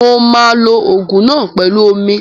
Mo ma lo Ògùn náà pẹlu ú omi